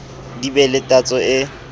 di be le tatso e